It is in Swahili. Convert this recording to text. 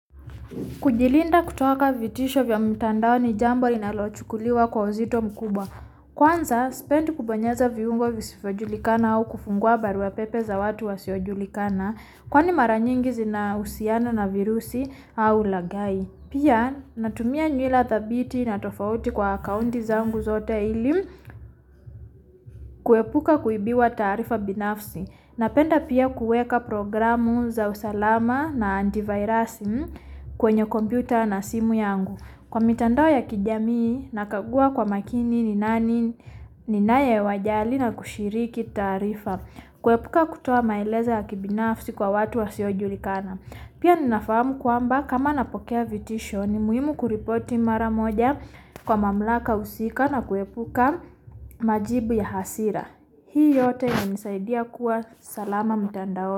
Kujilinda kutoka vitisho vya mtandao ni jambo linalochukuliwa kwa uzito mkubwa. Kwanza, sipendi kubonyeza viumbo visivyojulikana au kufungua barua pepe za watu wasiyojulikana. Kwani mara nyingi zinahusiana na virusi au ulaghai. Pia, natumia nyula thabiti na tofauti kwa akaonti zangu zote ili kuepuka kuibiwa taarifa binafsi. Napenda pia kuweka programu za usalama na antivirus kwenye computer na simu yangu. Kwa mitandao ya kijamii na kagua kwa makini ni nani ninaowajali na kushiriki taarifa. Kuepuka kutoa maelezo ya kibinafsi kwa watu wasiojulikana. Pia ninafahamu kwamba kama napokea vitisho ni muhimu kuripoti mara moja kwa mamlaka husika na kuepuka majibu ya hasira. Hii yote inanisaidia kuwa salama mitandaoni.